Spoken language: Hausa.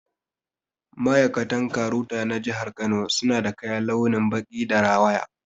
Ma'aikatan KAROTA na jihar Kano suna da kaya launin baƙi da rawaya